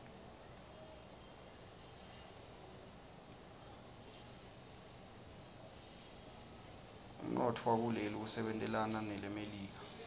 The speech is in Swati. umntfowakuleli usebentelana ngmelika